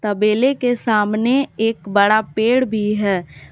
तबेले के सामने एक बड़ा पेड़ भी है।